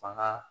Fanga